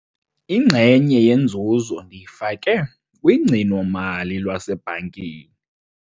Inxenye yenzuzo ndiyifake kugcino-mali lwasebhankini.